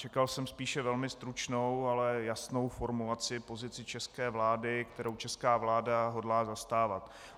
Čekal jsem spíše velmi stručnou, ale jasnou formulaci, pozici české vlády, kterou česká vláda hodlá zastávat.